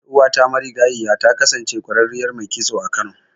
Ƴar'uwata marigayiya ta kasance ƙwararriyar mai kitso a Kano.